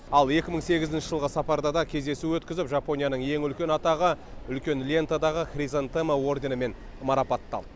ал екі мың сегізінші жылғы сапарда да кездесу өткізіп жапонияның ең үлкен атағы үлкен лентадағы хризантема орденімен марапатталды